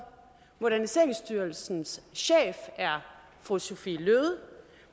moderniseringsstyrelsens chef er fru sophie løhde